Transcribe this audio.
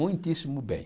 Muitíssimo bem.